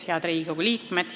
Head Riigikogu liikmed!